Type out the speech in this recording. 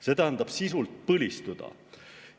See tähendab sisuliselt põlistumist.